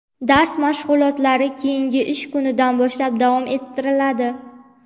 dars mashg‘ulotlari keyingi ish kunidan boshlab davom ettiriladi.